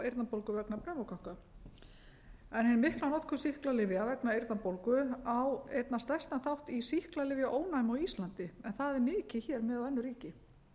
eyrnabólgu vegna pneumókokka hin mikla notkun sýklalyfja vegna eyrnabólgu á einna stærstan þátt í sýklalyfjaónæmi á íslandi en það er mikið hér miðað við önnur ríki